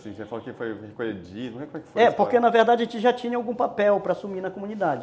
Você falou que foi... É, porque na verdade a gente já tinha algum papel para assumir na comunidade.